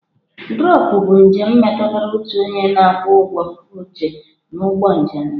Drọpụ bụ njem metụtara otu onye na-akwụ ụgwọ oche n'ụgbọ njem ya.